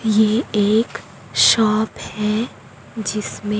ये एक शॉप है जिसमें--